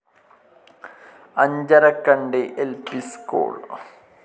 അഞ്ചരക്കണ്ടി ൽ P school